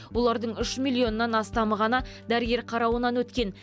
олардың үш миллионнан астамы ғана дәрігер қарауынан өткен